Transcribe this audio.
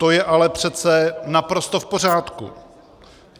To je ale přece naprosto v pořádku.